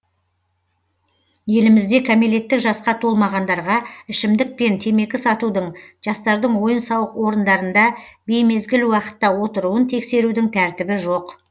елімізде кәмелеттік жасқа толмағандарға ішімдік пен темекі сатудың жастардың ойын сауық орындарында беймезгіл уақытта отыруын тексерудің тәртібі жоқ